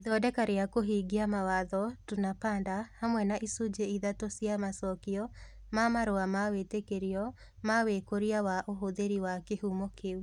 Ithondeka rĩa kũhingia mawatho: Tunapanda, hamwe na icunjĩ ithatũ cia macokio ma marũa ma wĩtĩkĩrio ma wĩkũria wa ũhũthĩri wa kĩhumo kĩu.